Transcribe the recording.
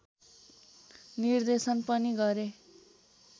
निर्देशन पनि गरे